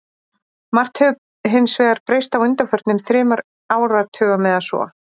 Margt hefur hins vegar breyst á undanförnum þremur áratugum eða svo.